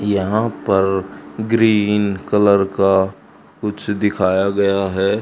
यहां पर green colour का कुछ दिखाया गया है।